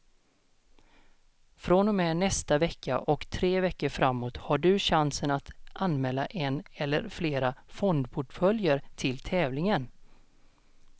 Från och med nästa vecka och tre veckor framåt har du chansen att anmäla en eller flera fondportföljer till tävlingen.